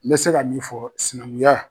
N bɛ se ka min fɔ sinankunya